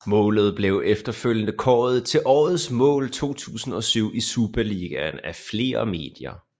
Målet blev efterfølgende kåret til det årets mål 2007 i Superligaen af flere medier